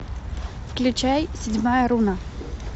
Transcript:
включай седьмая руна